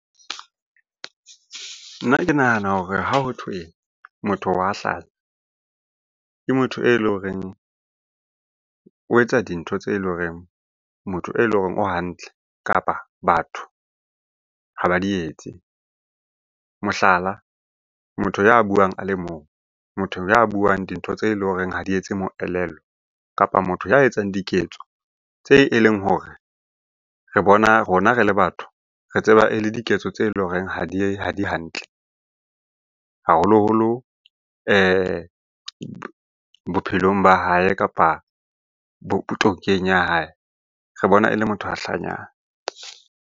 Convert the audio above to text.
Nna ke nahana hore ha hothwe motho wa hlanya, ke motho e leng horeng o etsa dintho tse leng horeng motho e leng hore o hantle, kapa batho ha ba di etse. Mohlala, motho ya buang a le mong, motho ya buang dintho tse leng horeng ha di etse moelelo, kapa motho ya etsang diketso tse e leng hore re bona rona re le batho re tseba e le diketso tse leng horeng ha di hantle. Haholoholo bophelong ba hae, kapa ya hae, re bona e le motho a hlanyang.